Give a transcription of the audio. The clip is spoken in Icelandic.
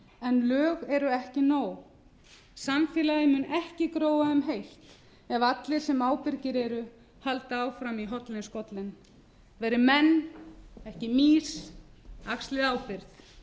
en lög eru ekki nóg samfélagið mun ekki gróa um heilt ef allir sem ábyrgir eru halda áfram í hornin skollin verið menn ekki mýs axlið ábyrgð